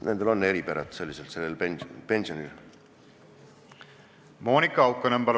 Monika Haukanõmm, palun!